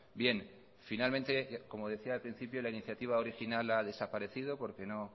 bien finalmente como decía al principio la iniciativa original ha desaparecido porque no